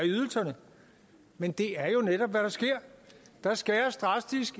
ydelserne men det er jo netop hvad der sker der skæres drastisk